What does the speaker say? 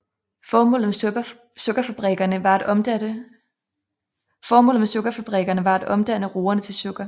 Formålet med sukkerfabrikkerne var at omdanne roerne til sukker